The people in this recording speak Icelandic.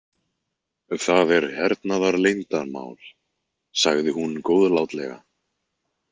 Það er hernaðarleyndamál, sagði hún góðlátlega.